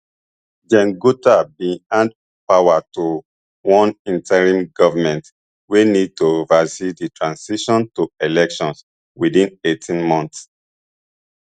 gen gota bin hand power to one interim govment wey need to oversee di transition to elections within eighteen months